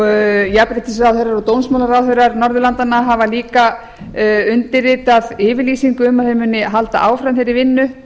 jafnréttisráðherrar og dómsmálaráðherrar norðurlandanna hafa líka undirritað yfirlýsingu um að þeir muni halda áfram þeirri vinnu